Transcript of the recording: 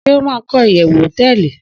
Shey o ma ko iyewu hoteeli